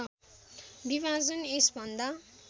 विभाजन यस भन्दा